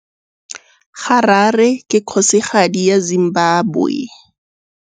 Harare ke kgosigadi ya Zimbabwe.